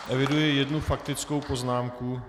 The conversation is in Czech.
Eviduji jednu faktickou poznámku.